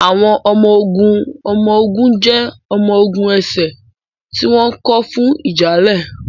Àwọn ọmọ-ogun ọmọ-ogun jẹ́ ọmọ-ogun ẹsẹ̀ tí wọ́n kọ́ fún ìjà ilẹ̀.